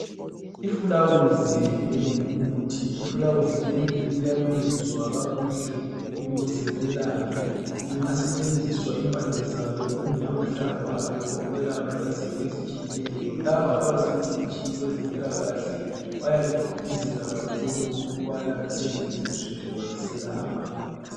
Ifilawuzi elingumuthi. Ifilawusi leli liyalungiswa kakuhle ukuze lelaphe. Liyasetshenziswa impande zalo kumbe mahlamvu alo ukwelapha izifo ezitshiyeneyo. Laba abazingcitshi kwezempilakahle bayaligqugquzela kakhulu ukuba lisetshenziswa ngoba liselapha